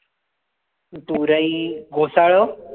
सुरई घोसाळ